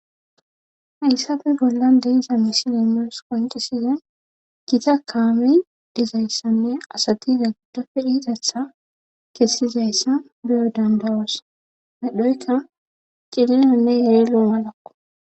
haysabe bolla deiza misilimios qoncisize gita kaami dizayssanne asatiza giddofe dhidatha kessizayssa biyo dandawoos medhoyka cilinanne yerilo malakko